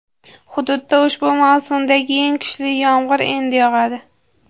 hududda ushbu mavsumdagi eng kuchli yomg‘ir endi yog‘adi.